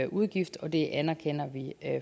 udgift og det anerkender vi